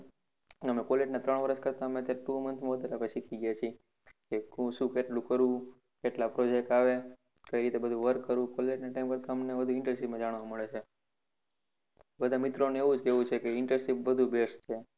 અમે college ના ત્રણ વર્ષ કરતા two month માં વધારે શીખી ગયા છીએ કે શું કેટલું કરવું કેટલા project આવે કઈ રીતે બધુ work કરવું college ના time ના બધુ અમને internship માં જાણવા મળે છે બધા મિત્રો નું એવું જ કેવું છે કે internship best છે